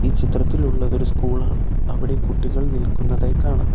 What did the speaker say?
ചിത്രത്തിൽ ഉള്ളതൊരു സ്കൂളാണ് അവിടെ കുട്ടികൾ നിൽക്കുന്നതായി കാണാം.